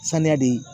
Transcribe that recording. Saniya de ye